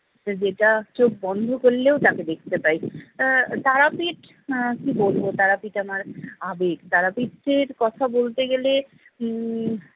যেটা চোখ বন্ধ করলেও তাঁকে দেখতে পাই আহ তারাপীঠ আহ কি বলবো তারাপীঠ আমার আবেগ। তারাপীঠের কথা বলতে গেলে উম